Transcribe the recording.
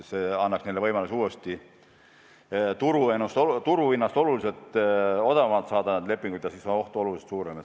See annaks neile võimaluse uuesti turuhinnast oluliselt odavamalt need lepingud sõlmida, aga siis on oht oluliselt suurem.